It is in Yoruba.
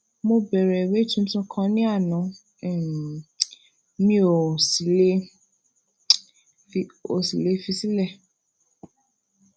mo bẹrẹ ìwé tuntun kan ní ana um mi um ò sì um ò sì lè fi sílè